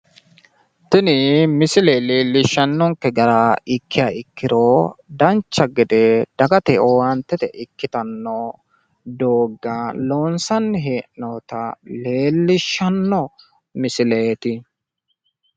Tini misile leellishshannonke gara ikkiha ikkiro dancha gede dagate owaantete ikkitanno doogga loonsanni hee'noyita leellishshanno misileeti.